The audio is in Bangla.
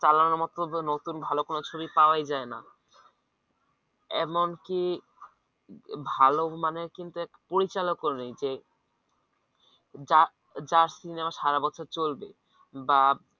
চালানোর মত নতুন ভালো কোন ছবি পাওয়াই যায়না এমনকি ভালোমানের কিন্তু একটা পরিচালক নেই যে যার যার সিনেমা সারা বছর চলবে বা